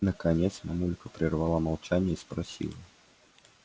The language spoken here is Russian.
наконец мамулька прервала молчание и спросила